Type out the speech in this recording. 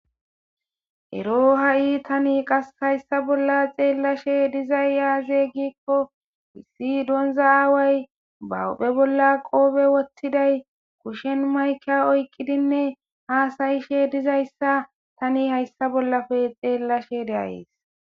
ero ha7i tani qas hayssa bolla xeellashe dizay yaazey gikko wissi donza aaway bawuphe bolla qoobe woththiday kushen mayka oykqidinne haasayishe dizayssa tani hayssa bollafe xeellashe deayes